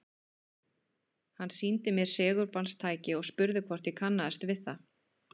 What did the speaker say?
Hann sýndi mér segulbandstæki og spurði hvort ég kannaðist við það.